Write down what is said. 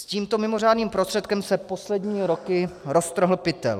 S tímto mimořádným prostředkem se poslední roky roztrhl pytel.